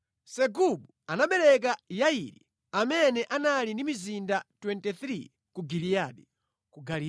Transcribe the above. Segubu anabereka Yairi, amene anali ndi mizinda 23 ku Giliyadi.